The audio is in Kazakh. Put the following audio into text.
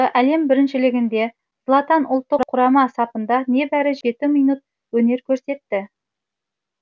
әлем біріншілігінде златан ұлттық құрама сапында небәрі жеті минут өнер көрсетті